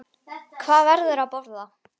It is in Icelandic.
Og hvað verður að borða?